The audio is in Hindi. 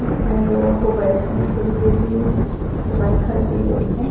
इसमें लोगो को बैठ ने के लिए भी व्यवस्ता की गयी है।